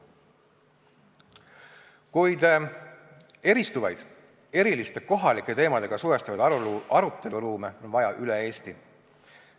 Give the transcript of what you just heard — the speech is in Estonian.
Kuid eristuvaid, eriliste kohalike teemadega suhestuvaid aruteluruume on vaja üle Eesti.